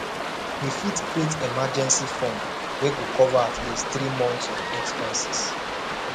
we fit create emergency fund wey go cover at least three months of expenses